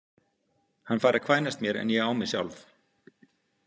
Hann fær að kvænast mér en ég á mig sjálf.